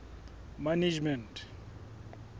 management